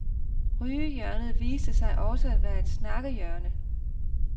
Rygehjørnet viste sig også at være snakkehjørnet.